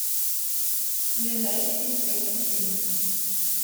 ближайший инспектрум клиник